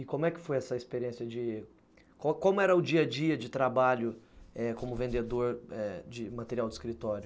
E como é que foi essa experiência de... Como como era o dia-a-dia de trabalho como vendedor de material de escritório?